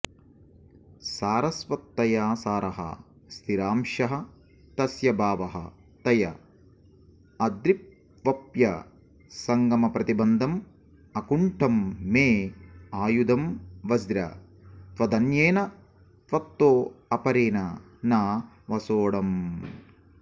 सारवत्तया सारः स्थिरांशः तस्य भावः तया अद्रिप्वप्यसङ्गमप्रतिबन्धं अकुण्ठं मे आयुधं वज्र त्वदन्येन त्वत्तोऽपरेण न विसोढम्